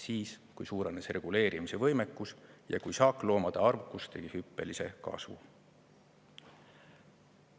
Siis, kui suurenes reguleerimise võimekus ja kui saakloomade arvukus tegi hüppelise kasvu.